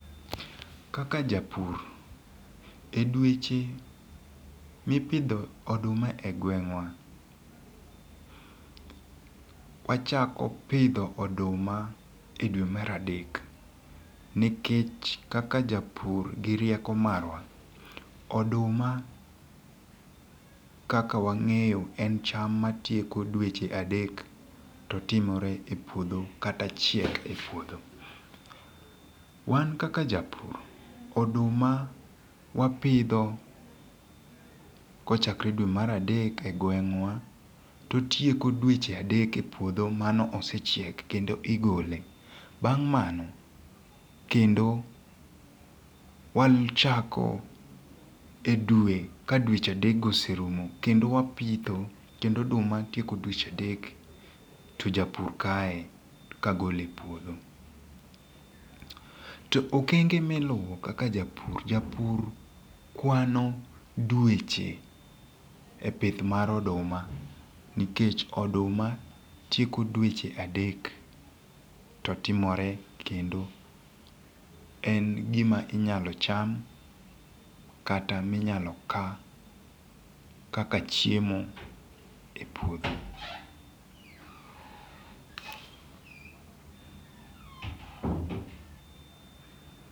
kaka japur edweche mipidho oduma e gweng'wa, wachako pidho oduma e dwe mar adek nikech kaka japur gi rieko marwa, oduma kaka wang'eyo en cham matieko dweche adek to timore e puodho kata chiek e puodho. Wan kaka japur oduma wapidho kochakre e dwe mar adek e gweng'wa to tieko dweche adek e puodho mano osechiek kendo igole bang' mano kendo wang'ichako e dwe ka dweche adek oserumo kendo wapitho kendo oduma tieko dweche adek to japur kae kagole e puodho to okenge miluwo kaka japur japur kwano dweche e pith mar oduma nikech oduma tieko dweche adek to timore en gima inyalo cham kata minyalo kaa kaka chiemo e puodho.